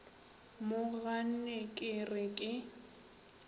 mo ganne ke re ke